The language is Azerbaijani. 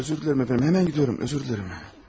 Özür dilərim əfəndim, hemen gidiyorum, özür dilərim.